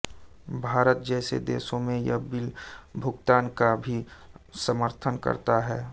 भारत जैसे देशों में यह बिल भुगतान का भी समर्थन करता है